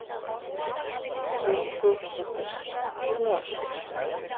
Hrund Þórsdóttir: Hvernig var?